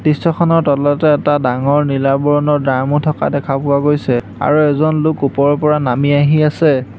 দৃশ্যখনৰ তলতে এটা ডাঙৰ নীলা বৰণৰ ড্ৰামো থকা দেখা পোৱা গৈছে আৰু এজন লোক ওপৰৰ পৰা নামি আহি আছে।